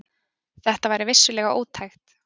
Þetta væri vissulega ótækt.